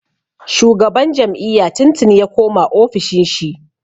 Shugaban jam'iyya tun tuni ya koma ofishin shi.